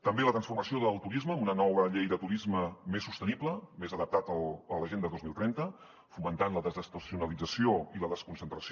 també la transformació del turisme amb una nova llei de turisme més sostenible més adaptada a l’agenda dos mil trenta fomentant la desestacionalització i la desconcentració